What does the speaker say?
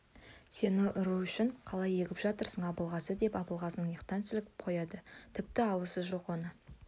сені ұру үшін қалай егіп жатырсың абылғазы деп абылғазыны иықтан сілкіп қояды тіпті аласы жоқ оны